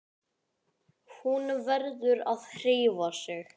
Hún verður að hreyfa sig.